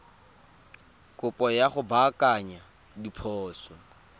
kopo ya go baakanya diphoso